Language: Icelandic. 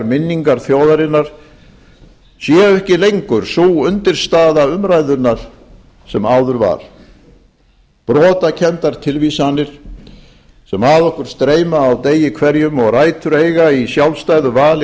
minningar þjóðarinnar séu ekki lengur sú undirstaða umræðunnar sem áður var brotakenndar tilvísanir sem að okkur streyma á degi hverjum og rætur eiga í sjálfstæðu vali